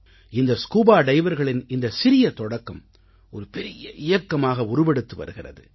இந்த ஸ்கூபா டைவர்களின் இந்தச் சிறிய தொடக்கம் ஒரு பெரிய இயக்கமாக உருவெடுத்து வருகிறது